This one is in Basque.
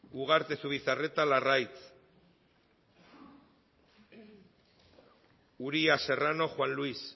ugarte zubizarreta larraitz uria serrano juan luis